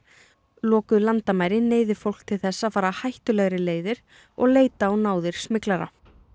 lokuð landamæri neyði fólk til þess að fara hættulegri leiðir og leita á náðir smyglara